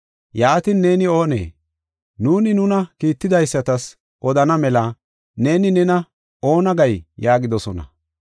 Yaatin, “Neeni oonee? Nuuni nuna kiitidaysatas odana mela neeni nena oona gay?” yaagidosona.